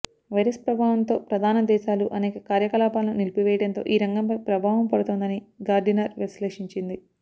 virus ప్రభావంతో ప్రధాన దేశాలు అనేక కార్యకలాపాలను నిలిపివేయడంతో ఈ రంగంపై ప్రభావం పడుతోందని గార్డినర్ విశ్లేషించింది